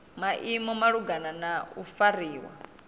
maimo malugana na u fariwa